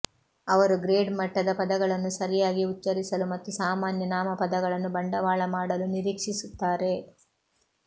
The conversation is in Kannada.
ಅವರು ಗ್ರೇಡ್ ಮಟ್ಟದ ಪದಗಳನ್ನು ಸರಿಯಾಗಿ ಉಚ್ಚರಿಸಲು ಮತ್ತು ಸಾಮಾನ್ಯ ನಾಮಪದಗಳನ್ನು ಬಂಡವಾಳ ಮಾಡಲು ನಿರೀಕ್ಷಿಸುತ್ತಾರೆ